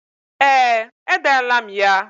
Ee, edela m ya.